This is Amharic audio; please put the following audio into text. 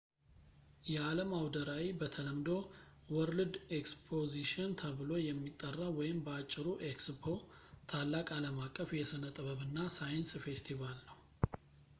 የአለም አውደ ራዕይ በተለምዶ world exposition ተብሎ የሚጠራው ወይም በአጭሩ ኤክስፖ ታላቅ አለምአቀፍ የስነጥበብ እና ሳይንስ ፌስቲቫል ነው